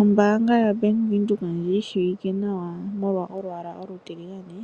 Ombanga yoBank Windhoek ndji yi shiwike nawa molwa olwaala olutiligane